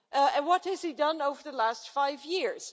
And what has he done over the last five years?